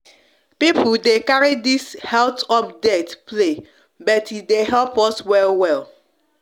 people de carry this heath update play but e de help us well well